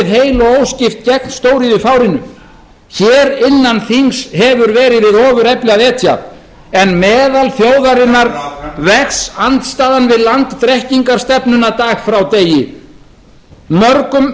heil og óskipt gegn stóriðjufárinu hér innan þings hefur verið við ofurefli að etja en meðal þjóðarinnar vex andstaðan við landdrekkingarstefnuna dag frá degi mörgum var